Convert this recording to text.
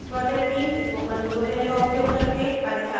spoken tutorials का उपयोग करके कार्यशालाएँ भी चलाती हैं